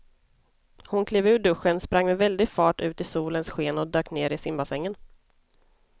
Hon klev ur duschen, sprang med väldig fart ut i solens sken och dök ner i simbassängen.